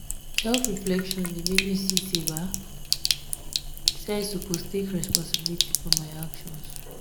self-reflection dey make me see sey i suppose take responsibility for my actions.